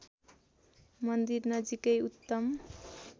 मन्दिर नजिकै उत्तम